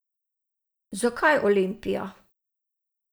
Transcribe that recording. Zakaj Olimpija?